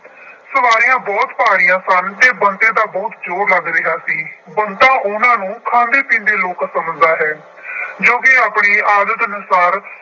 ਸਵਾਰੀਆਂ ਬਹੁਤ ਭਾਰੀਆਂ ਸਨ ਅਤੇ ਬੰਤੇ ਦਾ ਬਹੁਤ ਜ਼ੋਰ ਲੱਗ ਰਿਹਾ ਸੀ। ਬੰਤਾ ਉਹਨਾ ਨੂੰ ਖਾਂਦੇ ਪੀਂਦੇ ਲੋਕਲ ਸਮਝਦਾ ਹੈ। ਜੋ ਕਿ ਆਪਣੀ ਆਦਤ ਅਨੁਸਾਰ